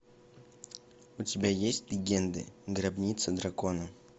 у тебя есть легенды гробница дракона